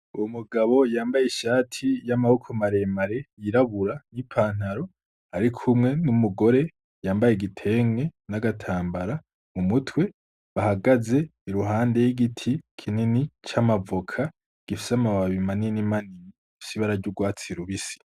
Uwo mugabo yambaye ishati y'amaboko maremare yirabura y'ipantaro, ariko umwe n'umugore yambaye igitenge n'agatambara mu mutwe bahagaze i ruhande y'igiti kinini c'amavoka gifise amababi manini manini sibararya urwatsi rubisi.